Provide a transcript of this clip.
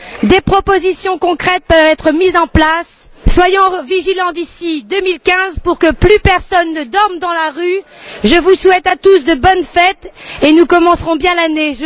Des propositions concrètes peuvent être mises en place. Soyons vigilants d'ici 2015 pour que plus personne ne dorme dans la rue. Je vous souhaite à tous de bonnes fêtes et nous commencerons bien l'année.